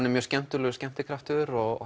er mjög skemmtilegur skemmtikraftur og